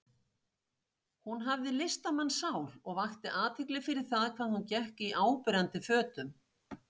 Hún hafði listamannssál og vakti athygli fyrir það hvað hún gekk í áberandi fötum.